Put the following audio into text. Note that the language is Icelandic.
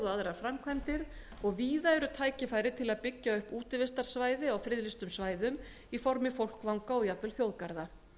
aðrar framkvæmdir og víða eru tækifæri til að byggja upp útivistarsvæði á friðlýstum svæðum í formi fólkvanga og jafnvel þjóðgarða